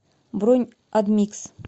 бронь адмикс